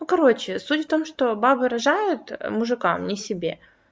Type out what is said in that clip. ну короче суть в том что бабы рожают мужикам не себе